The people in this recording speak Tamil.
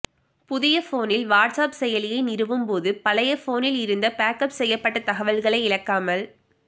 புதிய போனில் வாட்ஸ்ஆப் செயலியை நிறுவும் போது பழைய போனில் இருந்த பேக்அப் செய்யப்பட்ட தகவல்களை இழக்காமல்